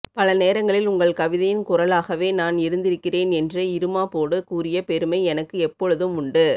பல நேரங்களில் உங்கள் கவிதையின் குரலாகவே நான் இருந்திருக்கிறேன் என்ற இருமாபோடு கூடிய பெருமை எனக்கு எபோழுதும் உண்டு